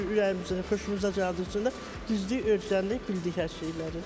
Ürəyimizdə xoşumuza gəldiyimiz üçün də düzdük, öyrəndik, bildik hər şeyləri.